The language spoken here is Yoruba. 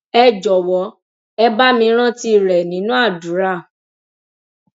ẹ jọwọ ẹ bá mi rántí rẹ nínú àdúrà